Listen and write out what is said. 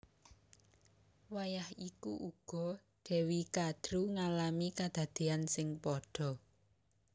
Wayah iku uga Dewi Kadru ngalami kadadéyan sing padha